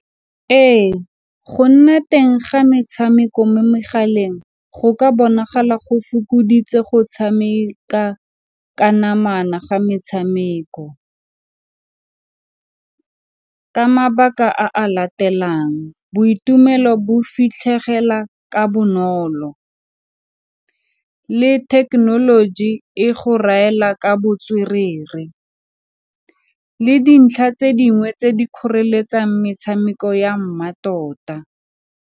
Ee, go nna teng ga metshameko mo megaleng, go ka bonagala go fokoditse go tshameka ka namana ga metshameko ka mabaka a a latelang boitumelo bo fitlhegela ka bonolo, le thekenoloji e go raela ka botswerere, le dintlha tse dingwe tse di kgoreletsang metshameko ya mmatota.